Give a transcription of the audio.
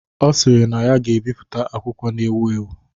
Ọ sịrị na ya ga-ebipụta akwụkwọ na ewu ewu.